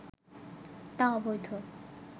তা অবৈধ